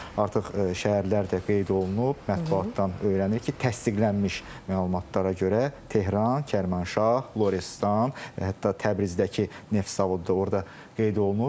Artıq şəhərlər də qeyd olunub, mətbuatdan öyrənirik ki, təsdiqlənmiş məlumatlara görə Tehran, Kərmənşah, Lorestan, hətta Təbrizdəki neft zavodu da orda qeyd olunur.